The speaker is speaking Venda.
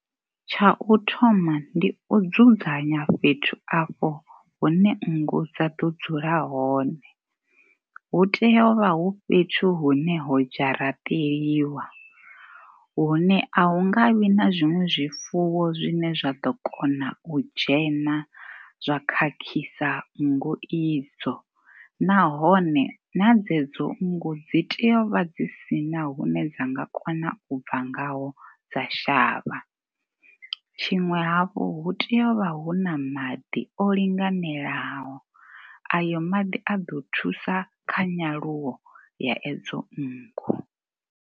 Tsha u thoma ndi u dzudzanya fhethu afho hune nngu dza ḓo dzula hone. Hu tea hu vha hu fhethu hune ho dzharaṱeliwa. Hune a hu nga vhi na zwiṅwe zwifuwo zwine zwine zwa ḓo kona u dzhena zwa khakhisa nngu idzo. Nahone na dzedzo nngu dzi tea u vha dzi si na hune dzi nga kona u bva ngaho dza shavha. Tshiṅwe hafhu, hu tea u vha hu na maḓi o linganelaho, a yo maḓi a ḓo thusa kha nyaluwo ya edzo nngu.